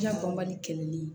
Diya bɔ mali kɛlɛli